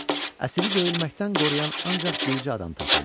Əsiri döyülməkdən qoruyan ancaq bircə adam tapıldı.